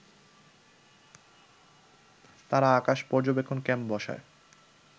তারা আকাশ পর্যবেক্ষণ ক্যাম্প বসায়